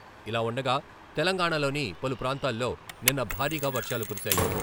ఇలావుండగా, తెలంగాణాలోని పలు ప్రాంతాల్లో నిన్న భారీగా వర్షాలు కురిశాయి.